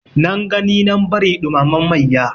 Nan gani nan bari ɗumamen mayya.